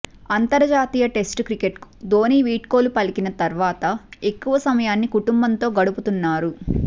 అంతర్జాతీయ టెస్టు క్రికెట్కు ధోని వీడ్కోలు పలికిన తర్వాత ఎక్కువ సమయాన్ని కుటుంబంతో గడుపుతున్నారు